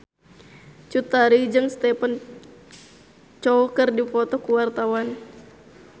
Cut Tari jeung Stephen Chow keur dipoto ku wartawan